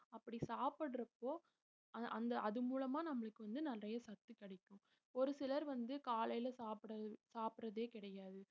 அப்படி சாப்பிடுறப்போ அ~ அந்த அது மூலமா நம்மளுக்கு வந்து நிறைய சத்து கிடைக்கும் ஒரு சிலர் வந்து காலையில சாப்பிடுற~ சாப்பிடுறதே கிடையாது